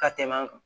Ka tɛmɛ an kan